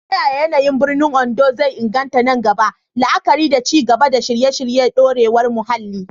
Ta yaya yanayin biranen Ondo zai inganta nan gaba, la'akari da ci gaba da shirye-shiryen dorewar muhalli?